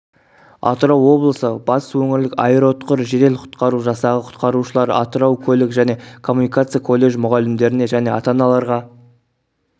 атырау облысы батыс өңірлік аэроұтқыр жедел-құтқару жасағы құтқарушылары атырау көлік және коммуникация колледж мұғалімдеріне және ата-аналарға